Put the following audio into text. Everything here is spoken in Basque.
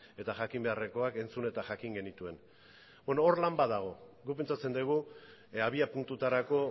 eta jakin beharrekoak entzun eta jakin genituen hor lan bat dago guk pentsatzen dugu abiapuntutarako